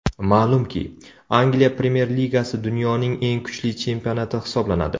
Ma’lumki, Angliya Premyer Ligasi dunyoning eng kuchli chempionati hisoblanadi.